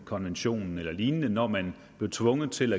konventionen eller lignende når man blev tvunget til